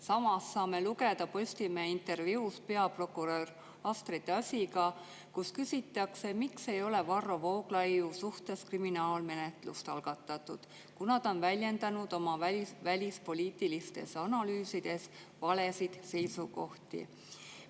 Samas saame lugeda Postimehe intervjuus peaprokurör Astrid Asiga, kus küsitakse, miks ei ole Varro Vooglaiu suhtes kriminaalmenetlust algatatud, kuna ta on väljendanud oma välispoliitilistes analüüsides valesid seisukohti.